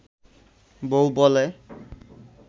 বউ বলে